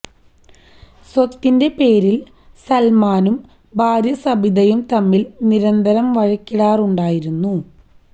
സ്വത്തിന്റെ പേരില് സല്മാനും ഭാര്യ സബിതയും തമ്മില് നിരന്തരം വഴക്കിടാറുണ്ടായിരുന്നു